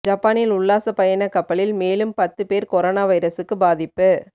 ஜப்பானில் உல்லாசப் பயணக் கப்பலில் மேலும் பத்து பேர் கொரோனா வைரஸுக்கு பாதிப்பு